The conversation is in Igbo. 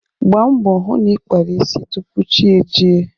Gbaa mbọ hụ na ị kpara isi tupu chi ejie.